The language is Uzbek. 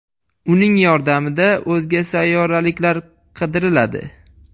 Uning yordamida o‘zga sayyoraliklar qidiriladi.